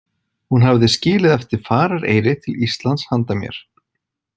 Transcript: Hún hafði skilið eftir farareyri til Íslands handa mér.